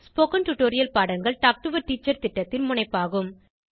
spoken tutorial பாடங்கள் talk to a teacher திட்டத்தின் முனைப்பாகும்